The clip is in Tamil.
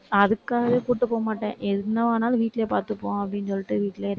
அதுக்காகவே கூட்டிட்டு போகமாட்டேன். என்ன ஆனாலும், வீட்டுலயே பார்த்துப்போம். அப்படின்னு சொல்லிட்டு வீட்டுலயே